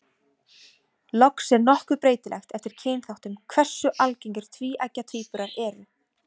Loks er nokkuð breytilegt eftir kynþáttum hversu algengir tvíeggja tvíburar eru.